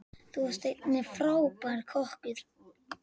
Þú varst einnig frábær kokkur.